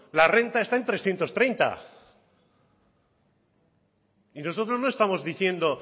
la renta está en trescientos treinta y nosotros no estamos diciendo